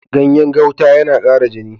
Ganyen gauta yana ƙara jini.